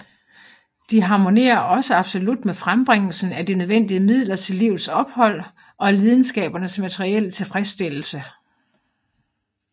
De er harmonerer også absolut med frembringelsen af de nødvendige midler til livets ophold og lidenskabernes materielle tilfredsstillelse